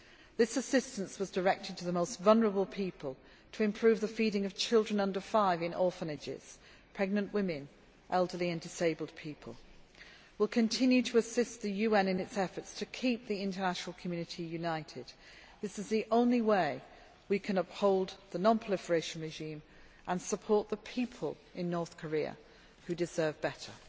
This assistance was directed to the most vulnerable people to improve the feeding of children less than five years of age in orphanages, pregnant women, elderly and disabled people. We will continue to assist the UN in its efforts to keep the international community united. This is the only way we can uphold the non proliferation regime and support the people in North Korea, who deserve better.